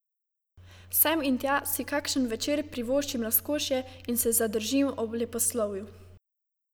Sem in tja si kakšen večer privoščim razkošje in se zadržim ob leposlovju.